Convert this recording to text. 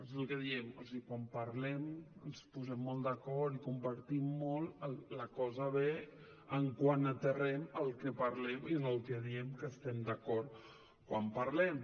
és el que diem o sigui quan parlem ens posem molt d’acord i compartim molt la cosa ve quan aterrem el que parlem i en el que diem que estem d’acord quan parlem